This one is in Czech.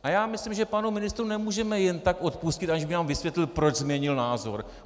A já myslím, že panu ministrovi nemůžeme jen tak odpustit, aniž by nám vysvětlil, proč změnil názor.